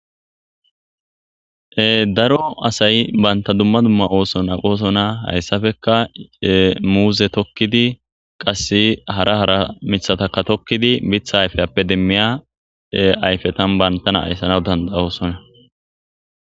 Daro asay banta dumma dumma ooso naqoosona hayssafeka muuze tokkidi qas hara hara mithataka tokkidi bitha ayfeyappe demmiya ayfetan bantana ayssanaw danda oosona.